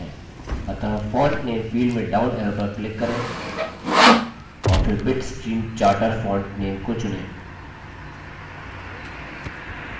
अतः font name field में down arrow पर click करें और फिर bitstream charter font name को चुनें